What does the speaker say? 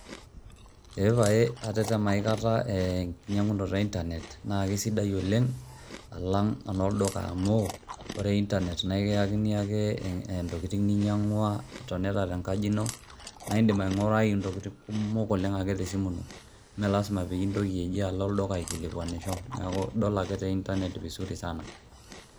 Eee pae atetema aikata enkinyang'unotu e intanet naake sidai oleng' alang' eno lduka amu ore intanet naa kiyakini ake intokin ninyang'ua itonita te nkaji ino, nae indim aing'urai intokitin kumok oleng' ake te simu ino mee lazima pii intoki ji alo olduka akilikuanisho, neeku idol ake te intanet vizuri sana.